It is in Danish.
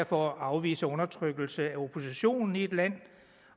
for at afvise undertrykkelse af oppositionen i et land